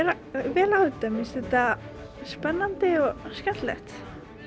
vel á þetta mér finnst þetta spennandi og skemmtilegt